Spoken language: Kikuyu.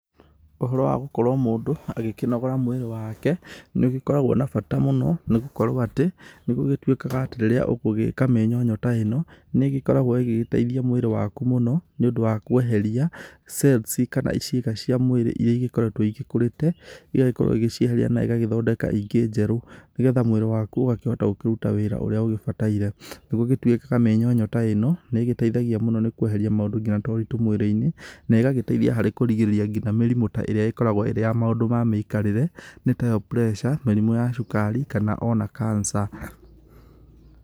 Ũhoro wa gũkorwo mũndũ agĩkĩnogora mwĩrĩ wake, nĩ ũgĩkoragwo na bata mũno nĩ gũkorwo atĩ nĩ gũgĩtuĩkaga atĩ rĩrĩa ũgwĩka mĩnyonyo ta ĩno nĩ ĩgĩkoragwo ĩgĩgĩteithia mwĩrĩ waku mũno nĩũndũ wa kweheria cells kana ciĩga cia mwĩrĩ iria igĩkoretwo igĩkũrĩte, ĩgagĩkorwo ĩgĩcieheria na ĩgathondeka ingĩ njerũ, nĩgetha mwĩrĩ waku ũgakĩhota kũruta wĩra ũrĩa ugĩbataire. Nĩguo gũgĩtuĩkaga mĩnyonyo ta ĩno nĩ ĩgĩteithagia mũno nĩkweheria maũndũ nginya ta ũritũ mwĩrĩ-inĩ, na ĩgagĩteithia harĩ kũrigĩrĩria nginya mĩrimũ ta ĩrĩa ĩkoragwo ĩrĩ ya maũndũ ma mĩikarĩre nĩ tayo pressure , mĩrimũ ya cukari kana ona cancer.